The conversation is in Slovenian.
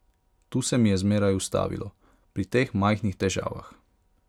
Tu se mi je zmeraj ustavilo, pri teh majhnih težavah.